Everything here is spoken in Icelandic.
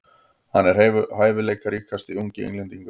Hann er hæfileikaríkasti ungi Englendingurinn.